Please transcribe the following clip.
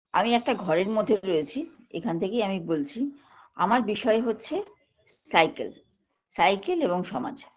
আমি একটা ঘরের মধ্যে রয়েছি এখান থেকেই আমি বলছি আমার বিষয় হচ্ছে cycle cycle এবং সমাজ